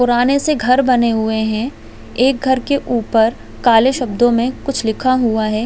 पुराने से घर बने हुए है एक घर के ऊपर काले शब्दों मे लिखा हुआ है।